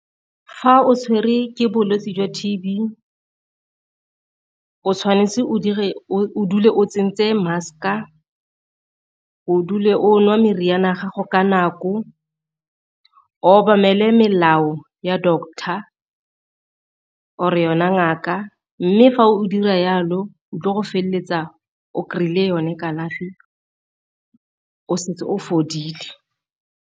Fa o tshwere ke bolwetse jwa T_B o tshwanetse o dule o tsentse mask-a, o dule o nwa meriana ya gago ka nako, o obamele melao ya doctor or-e yona ngaka. Mme fa o dira jalo o tlo go feleletsa o kry-ile yone kalafi o setse o fodile.